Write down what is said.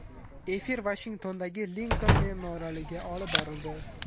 Efir Vashingtondagi Linkoln memorialida olib borildi.